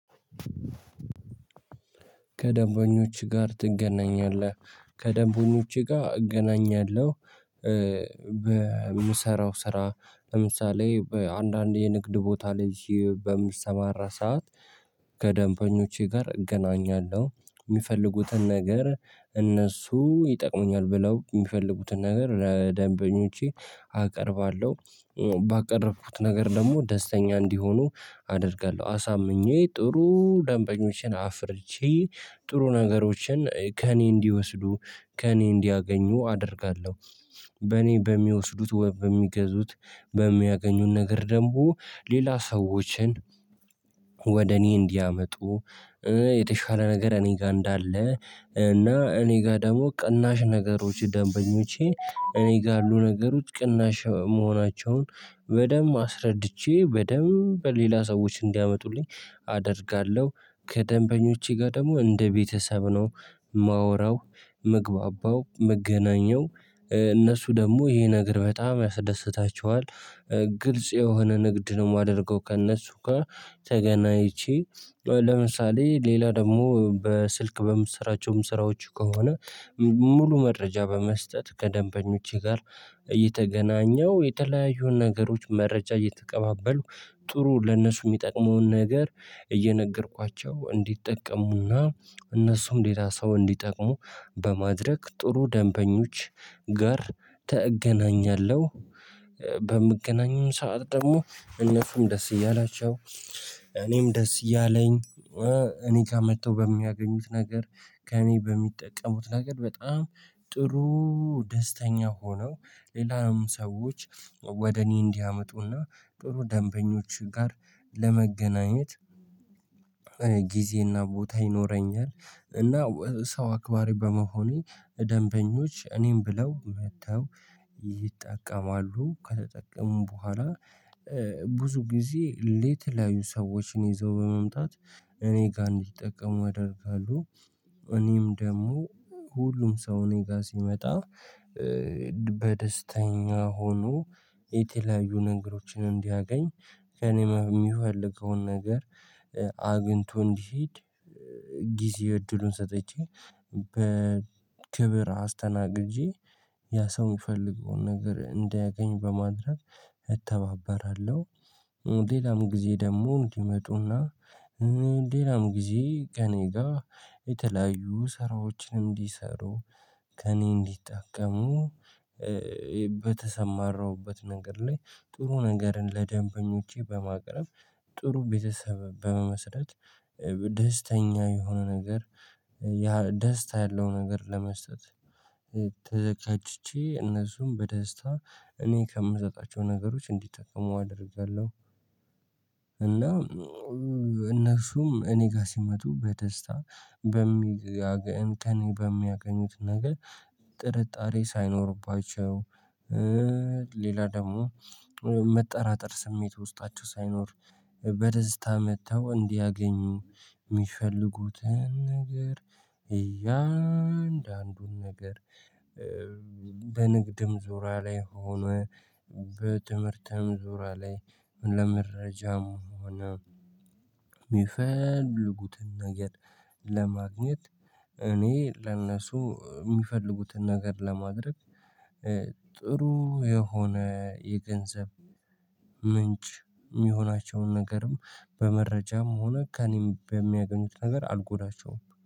ከደንበኞች ጋር ትገናኛለህ ከደንበኞቼ ጋር እገናኛለሁ። በምሰራው ስራ ለምሳሌ በአንዳንድ የንግድ ቦታ ላይ በምሰማራ ሰዓት። ከደንበኞቼ ጋር እገናኛለሁ የሚፈልጉትን ነገር እነሱ ይጠቅሙኛል ብለው የሚፈልጉትን ነገር ለደንበኞቼ አቀርባለሁ። ባቀረብኩት ነገር ደግሞ ደስተኛ እንዲሆኑ አደርጋለሁ አሳምኜ ጥሩ ደንበኞችን አፍርቼ ጥሩ ነገሮችን ከእኔ እንዲወስዱ ከእኔ እንዲያገኙ አደርጋለሁ። በእኔ በሚወስዱት ወይም በሚገዙት በሚያገኙን ነገር ደግሞ ሌላ ሰዎችን ወደ እኔ እንዲያመጡ የተሻለ ነገር እኔ ጋር እንዳለ። እና እኔ ጋር ደግሞ ቅናሽ ነገሮች ደንበኞቼ እኔ ጋር ያሉ ነገሮች ቅናሽ መሆናቸውን በደንብ አስረድቼ በደንብ በሌላ ሰዎች እንዲያመጡልኝ አደርጋለሁ። ከደንበኞቼ ጋር ደግሞ እንደ ቤተሰብ ነው ማወራው ምግባባው መገናኘው እነሱ ደግሞ ይሄ ነገር በጣም ያስደስታቸዋል። ግልጽ የሆነ ንግድ ነው የማደርገው ከእነሱ ጋር ተገናኝቼ ለምሳሌ ሌላ ደግሞ በስልክ በምስራቸውም ስራዎች ከሆነ። ሙሉ መረጃ በመስጠት ከደንበኞቼ ጋር እየተገናኘው የተለያዩ ነገሮች መረጃ እየተቀባበልኩ ጥሩ ለነሱ የሚጠቅመውን ነገር እየነገርኳቸው እንዲጠቀሙና እነሱም ሌላ ሰው እንዲጠቅሙ በማድረግ ጥሩ ደንበኞች ጋር ተገናኛለሁ። በምገናኙም ሰዓት ደግሞ እነሱም ደስ እያላቸው እኔም ደስ እያለኝ እኔ ከመጥተው በሚያገኙት ነገር ከእኔ በሚጠቀሙት ነገር በጣም ጥሩ ደስተኛ ሆነው ሌላም ሰዎች ወደ እኔ እንዲያመጡና ጥሩ ደንበኞች ጋር ለመገናኘት። ጊዜና ቦታ ይኖረኛል እና ሰው አክባሪ በመሆኔ ደንበኞች እኔን ብለው መጥተው ይጠቀማሉ ከተጠቀሙ በኋላ ብዙ ጊዜ ሌት ላይ ሰዎችን ይዘው በመምጣት እኔ ጋር እንዲጠቀሙ አደርጋለሁ። እኔም ደግሞ ሁሉም ሰው እኔ ጋር ሲመጣ በደስተኛ ሆኖ የተለያዩ ነገሮችን እንዲያገኝ ከእኔም የሚፈልገውን ነገር አግኝቶ እንዲሄድ ጊዜ እድሉን ሰጠች በክብር አስተናግጀ ያ ሰው የሚፈልገውን ነገር እንዳያገኝ በማድረግ እተባበራለሁ። ሌላም ጊዜ ደግሞ እንዲመጡና ሌላም ጊዜ ቀኔ ጋር የተለያዩ ስራዎችን እንዲሰሩ ከእኔ እንዲጠቀሙ በተሰማራሁበት ነገር ላይ ጥሩ ነገርን ለደንበኞቼ በማቅረብ ጥሩ ቤተሰብ በመመስረት። ደስተኛ የሆነ ነገር ደስታ ያለው ነገር ለመስጠት ተዘጋጅቼ እነሱም በደስታ እኔ ከምሰጣቸው ነገሮች እንዲጠቅሙ አደርጋለሁ። እና እነሱም እኔ ጋር ሲመጡ በደስታ በሚገኝ ቀን በሚያገኙት ነገር ጥርጣሬ ሳይኖርባቸው ሌላ ደግሞ መጠራጠር ስሜት ውስጣቸው ሳይኖር በደስታ መጥተው እንዲያገኙ የሚፈልጉትን ነገር እያንዳንዱን ነገር። ዙራ ላይ ሆኖ በትምህርትም ዙራ ላይ ለመረጃም ሆኖ ሆነ የሚፈልጉትን ነገር ለማግኘት እኔ ለእነሱ የሚፈልጉትን ነገር ለማድረግ ጥሩ የሆነ የገንዘብ ምንጭ የሚሆናቸውን ነገርም በመረጃም ሆነ ከእኔም በሚያገኙት ነገር አልጎዳቸውም